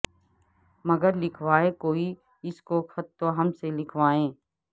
مگر لکھوائے کوئی اس کو خط تو ہم سے لکھوائے